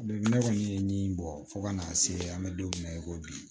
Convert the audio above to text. ne kɔni ye min bɔ fo ka n'a se an bɛ don min na i ko bi